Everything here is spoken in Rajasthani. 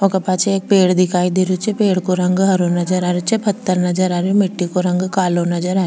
वोका पाछे एक पेड़ दिखाई दे रहियो छे पेड़ को रंग हरो नजर आ रियो छे पत्थर नजर आ रियो मिट्टी को रंग कालो नजर आ --